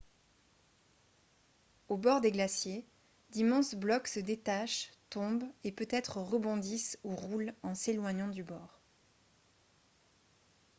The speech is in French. au bord des glaciers d'immenses blocs se détachent tombent et peut-être rebondissent ou roulent en s'éloignant du bord